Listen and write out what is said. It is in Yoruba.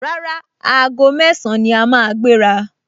Rárá, aago mẹ́ẹ̀sán ni a máa gbéra